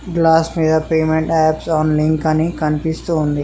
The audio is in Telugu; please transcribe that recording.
గ్లాస్ మీద పేమెంట్ యాప్స్ అన్ లింక్ అని కనిపిస్తుంది.